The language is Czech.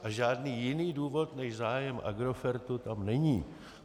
A žádný jiný důvod než zájem Agrofertu tam není.